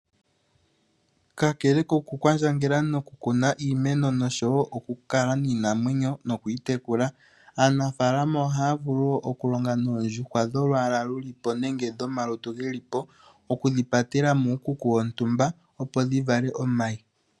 Kakele kokukwandjangela nokukala iimeno noshowo okukala niinamwenyo nokuyi tekula, aanafaalama ohaya vulu wo okulonga noondjuhwa dholwaala lu li po nenge dhomalutu ge li po okudhi patela muukuku wontumba, opo dhi vale omayi.